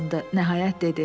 Nəhayət dedi.